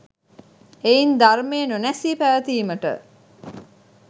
එයින් ධර්මය නොනැසී පැවතීමට